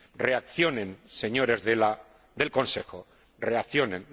Reaccionen, señores del Consejo, reaccionen.